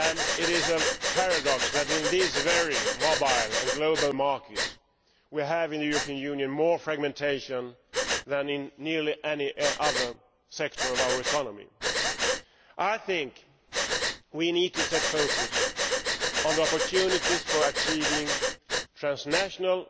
It is a paradox that, in these varying mobile and global markets, we in the European Union have more fragmentation than in nearly any other sector of our economy. I think we need to focus on opportunities for achieving transnational